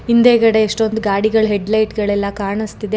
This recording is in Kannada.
ಹಿಂದೆ ಗಡೆ ಎಷ್ಟೊಂದು ಗಾಡಿಗಳ ಹೀಡ್ಲೈಟ್ ಗಳೆಲ್ಲ ಕಾಣುಸ್ತಿದೆ ಗ್ರಿ--